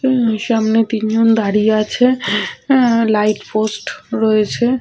অ্যা সামনে তিন জন দাঁড়িয়ে আছে অ্যা লাইট পোস্ট রয়েছে।